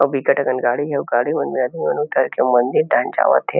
अउ बिकट अकन गाड़ी हे अउ गाड़ी मन में आदमी मन उतर के मंदिर डाहन जावत हे।